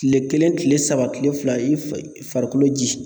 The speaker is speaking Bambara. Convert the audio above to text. Tile kelen tile saba tile fila i fɛ farikolo ji